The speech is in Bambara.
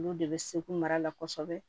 Olu de bɛ seko mara la kosɛbɛ